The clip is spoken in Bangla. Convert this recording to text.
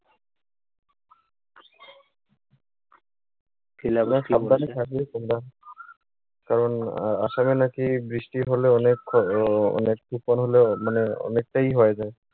সাবধানে থাকিও তোমরা। কারণ আ আসামে নাকি বৃষ্টি হলে অনেক ক্ষয়, অনেক তুফান মানে অনেকটাই ই হয়ে যায়।